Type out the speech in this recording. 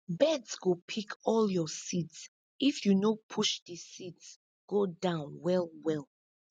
birds go pick all your seeds if you no push the seeds go down well well